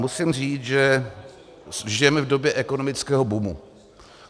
Musím říct, že žijeme v době ekonomického boomu.